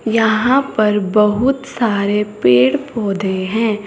यहां पर बहुत सारे पेड़ पौधे हैं।